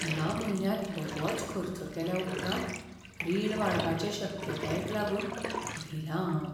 ह्या म्हयन्यांत बरोच खर्च केल्या उपरांत रिण वाडपाचे शक्यतायेक लागून भिलां हांव.